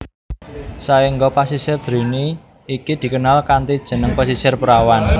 Saengga Pasisir Drini iki dikenal kanthi jeneng Pasisir Perawan